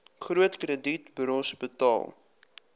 groot kredietburos betaal